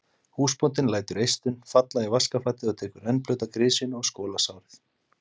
Húsbóndinn lætur eistun falla í vaskafatið og tekur rennblauta grisjuna og skolar sárið.